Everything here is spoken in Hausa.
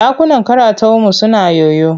Ɗakunan karataunmu suna yoyo.